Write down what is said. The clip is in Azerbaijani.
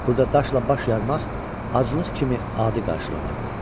Burada daşla baş yarmaq aclıq kimi adi qarşılanırdı.